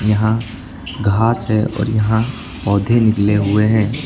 यहां घास है और यहां पौधे निकले हुए हैं।